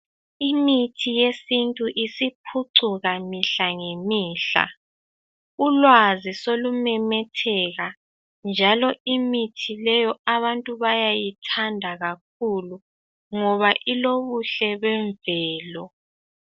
Imithi yesintu isiphucuka mihla ngemihla, ulwazi selumemetheka njalo imithi leyo abantu bayayithanda kakhulu ngoba ilobuhle bemvelo.